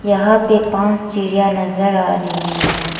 यहां पे पांच चिड़िया नजर आ रही है।